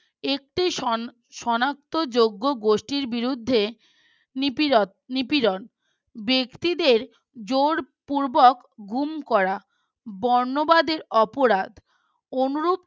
একটি সান সনাক্তযজ্ঞ গোষ্ঠীর বিরুদ্ধে নিপীড়ন ব্যক্তিদের জোরপূর্বক গুম করা বর্ণবাদের অপরাধ